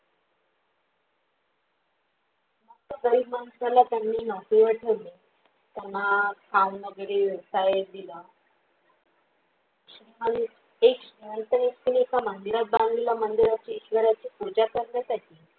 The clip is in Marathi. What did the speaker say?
गरीब माणसाला त्यांनी नौकरी वर ठेवले त्यांना काम वगैरे व्यवसाय दिला एक श्रीमंत व्यक्ती जसा मंदिरात बांधलेलं, मंदिराची ईश्वराची पूजा करण्यासाठी